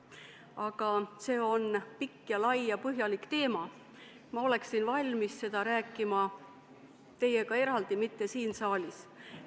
Aga see on väga lai ja põhjalik teema ja ma oleksin valmis sel teemal rääkima teiega eraldi, mitte siin saalis.